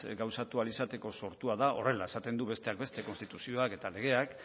gauzatu ahal izateko sortua dago horrela esaten du besteak beste konstituzioak eta legeek